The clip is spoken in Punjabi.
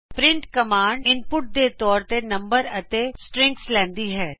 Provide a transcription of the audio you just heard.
ਪ੍ਰਿੰਟ ਕਮਾਂਡ ਇਨਪੁਟ ਦੇ ਤੌਰ ਤੇ ਨੰਬਰ ਅਤੇ ਸਟ੍ਰਿਂਗਸ ਲੈਂਦੀ ਹੈ